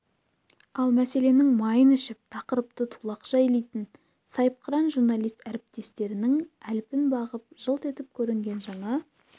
ал мәселенің майын ішіп тақырыпты тулақша илейтін сайыпқыран журналист әріптестерінің әлпін бағып жылт етіп көрінген жаңа